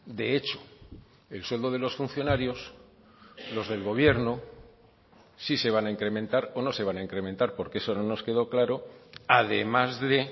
de hecho el sueldo de los funcionarios los del gobierno sí se van a incrementar o no se van a incrementar porque eso no nos quedó claro además de